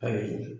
Ayi